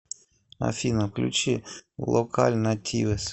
афина включи локаль нативес